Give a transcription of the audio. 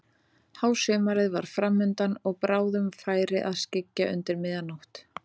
Hásumarið var fram undan og bráðum færi að skyggja undir miðja nótt.